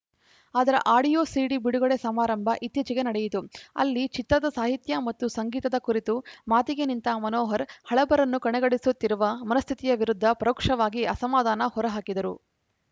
ಅದರ audio CD ಬಿಡುಗಡೆ ಸಮಾರಂಭ ಇತ್ತೀಚೆಗೆ ನಡೆಯಿತು ಅಲ್ಲಿ ಚಿತ್ರದ ಸಾಹಿತ್ಯ ಮತ್ತು ಸಂಗೀತದ ಕುರಿತು ಮಾತಿಗೆ ನಿಂತ ಮನೋಹರ್‌ ಹಳಬರನ್ನು ಕಡೆಗಣಿಸುತ್ತಿರುವ ಮನಸ್ಥಿತಿಯ ವಿರುದ್ಧ ಪರೋಕ್ಷವಾಗಿ ಅಸಮಾಧಾನ ಹೊರ ಹಾಕಿದರು